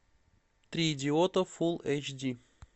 три идиота фул эйч ди